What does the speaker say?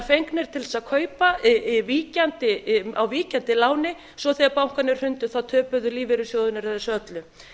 fengnir til þess að kaupa á víkjandi láni og svo þegar bankarnir hrundu töpuðu lífeyrissjóðirnir þessu öllu